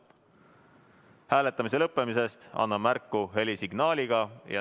Hääletamise lõppemisest annan märku helisignaaliga.